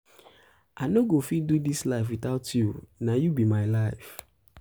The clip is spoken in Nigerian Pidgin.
i no go um fit do dis life witout you na um you be my life.